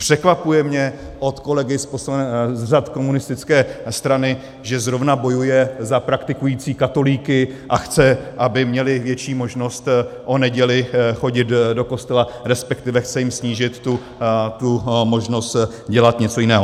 Překvapuje mě od kolegy z řad komunistické strany, že zrovna bojuje za praktikující katolíky a chce, aby měli větší možnost o nedělích chodit do kostela, respektive chce jim snížit tu možnost dělat něco jiného.